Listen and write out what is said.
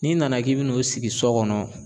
N'i nana k'i bɛna n'o sigi sɔ kɔnɔ